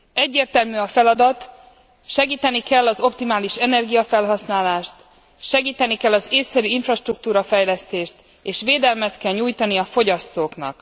Egyértelmű a feladat segíteni kell az optimális energiafelhasználást, segíteni kell az ésszerű infrastruktúra fejlesztést és védelmet kell nyújtani a fogyasztóknak.